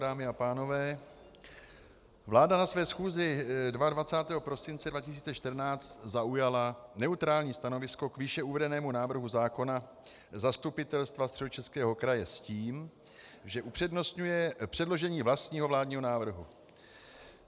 Dámy a pánové, vláda na své schůzi 22. prosince 2014 zaujala neutrální stanovisko k výše uvedenému návrhu zákona Zastupitelstva Středočeského kraje s tím, že upřednostňuje předložení vlastního vládního návrhu.